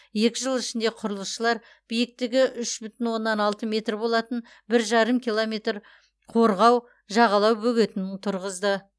екі жыл ішінде құрылысшылар биіктігі үш бүтін оннан алты метр болатын бір жарым километр қорғау жағалау бөгетін тұрғызды